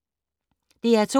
DR2